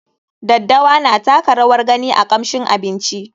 Daddawa na taka rawar gani a kamshin abinci.